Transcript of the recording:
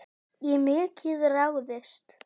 Í mikið ráðist